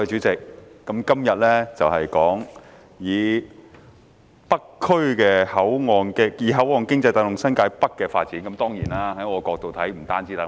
代理主席，本會今天討論"以口岸經濟帶動新界北發展"的議案。